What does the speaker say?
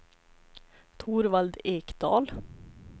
Torvald Ekdahl